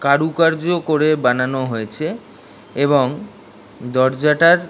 কারুকার্য করে বানানো হয়েছে এবং দরজাটার ।